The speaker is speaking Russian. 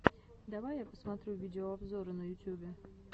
давай я посмотрю видеообзоры на ютюбе